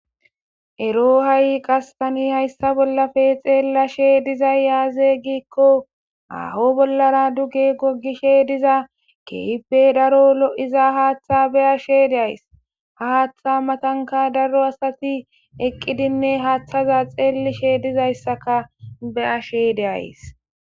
ero ha7i qas tani hayssa bollafe xeellashe dizay yaaze giikko aho bollara duge gogishe diza keibe daro lo7iza haaththa be ashe deays ha haaththa matanka daro asati eqqidinne haaththaza xeellishe dizayssaka be ashe deays